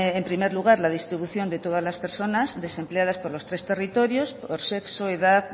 en primer lugar la distribución de todas las personas desempleadas por los tres territorios por sexo edad